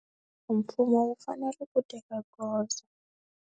Mfumo wu fanele ku teka goza.